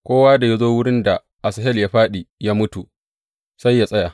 Kowa da ya zo wurin da Asahel ya fāɗi, ya mutu, sai yă tsaya.